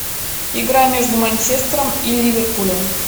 игра между манчестером и ливерпулем